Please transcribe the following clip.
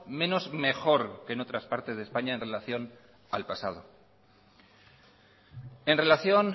menos mejor que en otras partes de españa en relación al pasado en relación